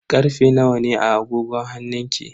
Karfe nawa ne a agogon hannunki?